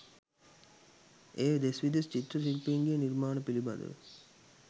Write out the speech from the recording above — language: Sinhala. එය දෙස් විදෙස් චිත්‍ර ශිල්පීන්ගේ නිර්මාණ පිළිබදව